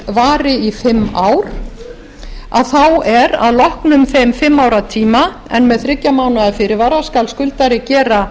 vari í fimm ár að þá er að loknum þeim fimm ára tíma en með þriggja mánaða fyrirvara skal skuldari gera